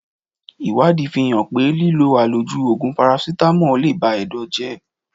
Ìwádìí fi hàn pé lílọ àlòjù Ògùn Parasítámọ̀ le ba Ẹ̀dọ̀ jẹ́.